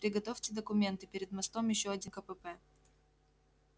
приготовьте документы перед мостом ещё один кпп